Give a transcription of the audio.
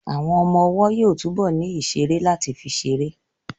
Àwọn ọmọ ọwọ́ yóò túbọ̀ ní ìṣeré láti fi ṣeré